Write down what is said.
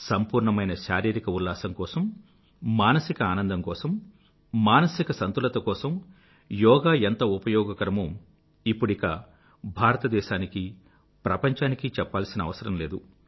సంపూర్ణమైన శారీరిక ఉల్లాసం కోసం మానసిక ఆనందం కోసం మానసిక సంతులత కోసం యోగా ఎంత ఉపయోగకరమో ఇప్పుడిక భారతదేశానికీ ప్రపంచానికీ చెప్పాల్సిన అవసరం లేదు